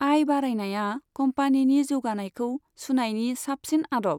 आय बारायनाया कम्पानिनि जौगानायखौ सुनायनि साबसिन आदब।